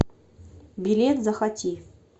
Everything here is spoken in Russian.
билет захоти